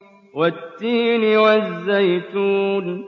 وَالتِّينِ وَالزَّيْتُونِ